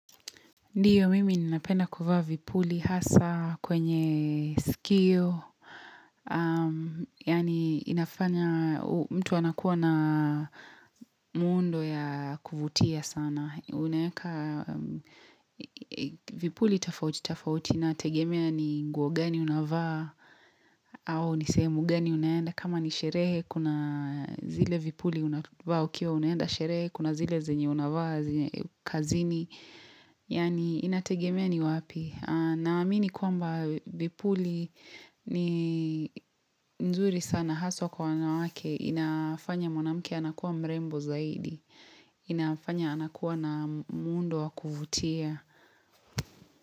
Ndio mimi ninapenda kuvaa vipuli hasa kwenye skio Yani inafanya mtu anakuwa na muundo ya kuvutia sana Vipuli tofauti tofauti nategemea ni nguo gani unavaa au nisehemu gani unayenda kama nisherehe Kuna zile vipuli unavaa ukiwa unaenda sherehe Kuna zile zenye unavaa kazini Yani inategemea ni wapi Naamini kuamba vipuli ni nzuri sana haswa kwa wana wake inafanya monamuke Anakua mrembo zaidi inafanya anakuwa na muundo wa kuvutia.